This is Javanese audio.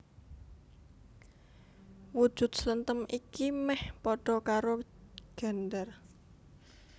Wujud slenthem iki mèh padha karo gendèr